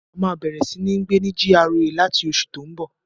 A máa bẹ̀rẹ̀ sí ní gbé ní GRA láti oṣù tó n bọ̀